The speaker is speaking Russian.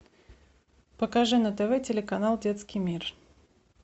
покажи на тв телеканал детский мир